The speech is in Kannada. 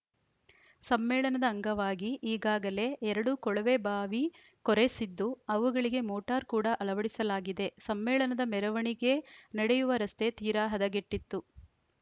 ಸಮ್ಮೇಳನದ ಅಂಗವಾಗಿ ಈಗಾಗಲೇ ಎರಡು ಕೊಳವೆ ಬಾವಿ ಕೊರೆಸಿದ್ದು ಅವುಗಳಿಗೆ ಮೋಟಾರ್‌ ಕೂಡ ಅಳವಡಿಸಲಾಗಿದೆ ಸಮ್ಮೇಳನದ ಮೆರವಣಿಗೆ ನಡೆಯುವ ರಸ್ತೆ ತೀರಾ ಹದಗೆಟ್ಟಿತ್ತು